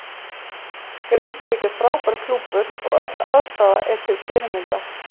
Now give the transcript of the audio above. Grindavík er frábær klúbbur og öll aðstaða er til fyrirmyndar.